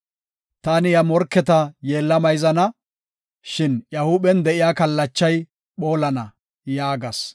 Taani iya morketa yeella mayzana; shin iya huuphen de7iya kallachay phoolana” yaagas.